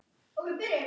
Svo smelli ég af.